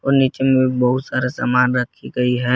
और नीचे में बहुत सारा सामान रखी गई है।